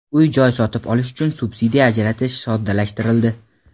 Uy-joy sotib olish uchun subsidiya ajratish soddalashtirildi.